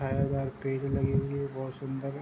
छायादार पेड़ लगी हुई है बहोत सुन्दर।